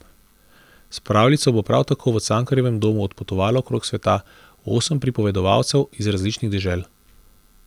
S pravljico bo prav tako v Cankarjevem domu odpotovalo okrog sveta osem pripovedovalcev iz različnih dežel.